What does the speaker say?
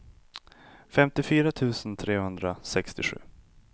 femtiofyra tusen trehundrasextiosju